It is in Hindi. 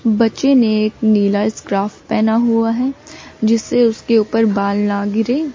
बच्चे ने नीला स्क्राफ पहना हुआ है जिससे उसके ऊपर बाल ना गिरे।